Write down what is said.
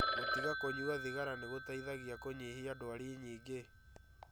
Gũtiga kũnyua thigara nĩgũteithagia kũnyihia ndwari nyingĩ